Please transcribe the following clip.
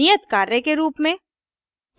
नियतकार्य के रूप में